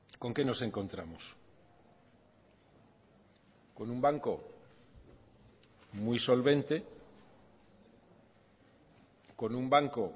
con qué nos encontramos con un banco muy solvente con un banco